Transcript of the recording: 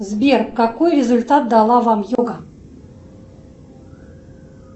сбер какой результат дала вам йога